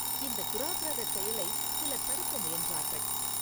இந்தத் தூராக்ரகச் செயலைச் சிலர் தடுக்க முயன்றார்கள்.